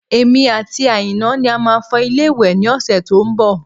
Èmi àti Aina ni a máa fọ ilé ìwẹ̀ ní ọ̀sẹ̀ tó ń bọ̀